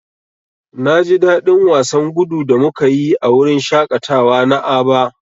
Na ji dadin wasan gudu da muka yi a wurin shaƙatawa na Aba.